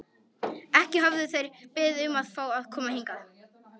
Ekki höfðu þeir beðið um að fá að koma hingað.